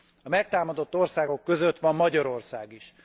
A megtámadott országok között van Magyarország is.